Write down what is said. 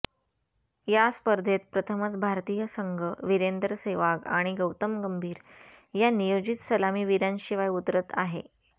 या स्पर्धेत प्रथमच भारतीय संघ वीरेंदर सेहवाग आणि गौतम गंभीर या नियोजित सलामीवीरांशिवाय उतरत आहे